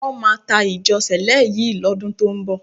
Wọ́n máa ta ìjọ Sẹ̀lẹ́ yìí lọ́dún tó ń bọ̀.